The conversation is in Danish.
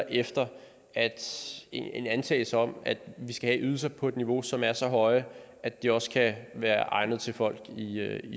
efter en antagelse om at vi skal have ydelser på et niveau som er så højt at det også kan være egnet til folk i